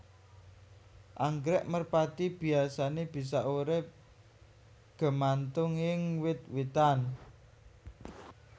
Anggrèk merpati biyasané bisa urip gemantung ing wit witan